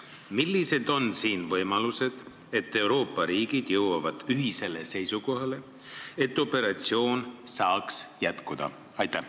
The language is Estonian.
Millised on võimalused, et Euroopa riigid jõuavad ühisele seisukohale, et operatsioon saaks jätkuda?